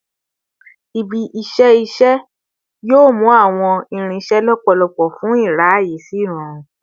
Ibi-iṣẹ iṣẹ yoo mu awọn irinṣẹ lọpọlọpọ fun iraye si irọrun